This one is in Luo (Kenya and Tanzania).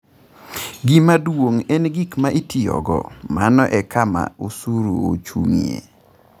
Gima duong’ en gik ma itiyogo, mano e kama osuru ochung’ie.